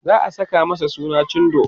za'a Saka masa suna cindo